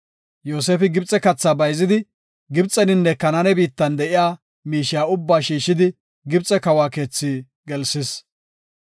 Yoosefi Gibxe katha bayzidi, Gibxeninne Kanaane biittatan de7iya miishiya ubbaa shiishidi Gibxe kawa keetha gelsis.